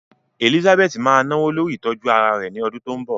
Elizabeth máa náwó lórí ìtọ́jú ara rẹ̀ ní ọdún tó ń bọ̀.